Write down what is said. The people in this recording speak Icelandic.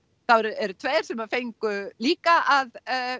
það eru tveir sem fengu líka að